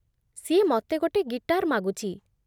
ସିଏ ମତେ ଗୋଟେ ଗିଟାର୍ ମାଗୁଚି ।